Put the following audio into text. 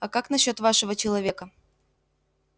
а как насчёт вашего человека